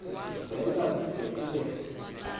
zela kude kube